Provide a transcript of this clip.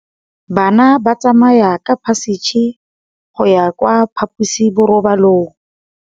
Bana ba tsamaya ka phašitshe go ya kwa phaposiborobalong.